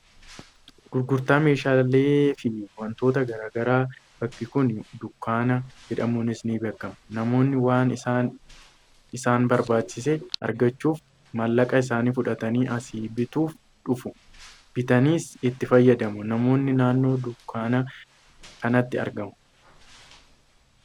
gurgurtaa meeshaalee fi wantootaa gara garaa, bakki kun dunkaana jedhamuunis ni beekkama. Namoonni waan isaan isaan barbaachiise argachuuf maallaqa isaanii fudhatanii asii bituuf dhufu, bitataniis itti fayyadamu. Namoonnis naannoo dunkaana kanaatti argamu.